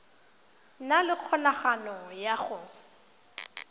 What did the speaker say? na le kgonagalo ya go